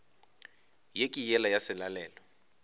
ye ke yela ya selalelo